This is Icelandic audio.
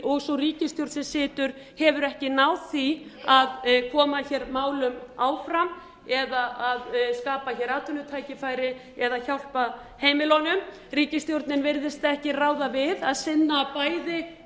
og sú ríkisstjórn sem situr hefur ekki náð því að koma hér málum áfram eða skapa hér atvinnutækifæri eða hjálpa heimilunum ríkisstjórnin virðist ekki ráða við að sinna bæði